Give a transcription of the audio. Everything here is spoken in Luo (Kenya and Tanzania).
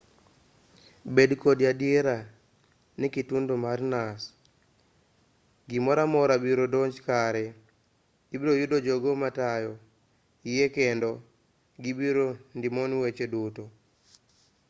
bed kod adiera ni kitundo marinas gimoramora biro donjo kare ibiroyudo jogo matayo yie kendo gibiro ndimoni weche duto